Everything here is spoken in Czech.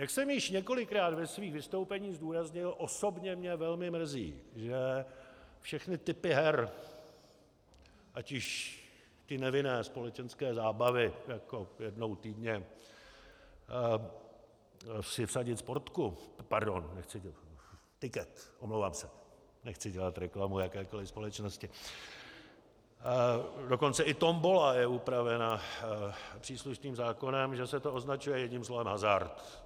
Jak jsem již několikrát ve svých vystoupeních zdůraznil, osobně mě velmi mrzí, že všechny typy her, ať již ty nevinné společenské zábavy, jako jednou týdně si vsadit sportku, pardon, tiket, omlouvám se, nechci dělat reklamu jakékoli společnosti, dokonce i tombola je upravena příslušným zákonem, že se to označuje jedním slovem - hazard.